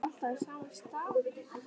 Mari, spilaðu lag.